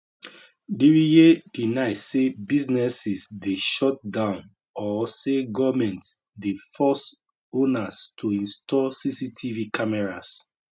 diriye deny say businesses dey shut down or say goment dey force owners to install cctv cameras